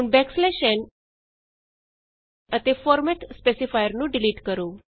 ਹੁਣ n ਅਤੇ format specifier ਨੂੰ ਡਿਲੀਟ ਕਰੋ